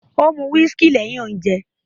Ó mu whiskey lẹ́hìn ounje